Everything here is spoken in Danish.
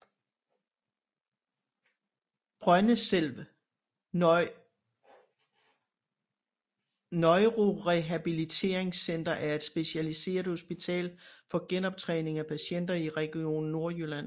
Brøndeselv Neurorehabiliteringscenter er et specialiseret hospital for genoptræning af patienter i Region Nordjylland